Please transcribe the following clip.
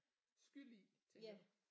Skyld i tænker du